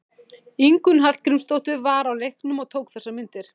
Ingunn Hallgrímsdóttir var á leiknum og tók þessar myndir.